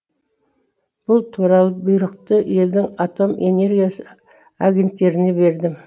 бұл туралы бұйрықты елдің атом энергиясы агенттеріне бердім